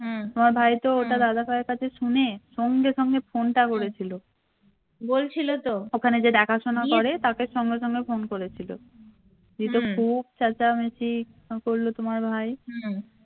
তোমার ভাইতো ওটা শুনে সঙ্গে সঙ্গে phone টা করেছিল ওখানে যে দেখাশুনা করে তাকে সঙ্গে সঙ্গে phone করেছিল দি তো খুব চেঁচামেচি করলো তোমার ভাই